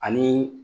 Ani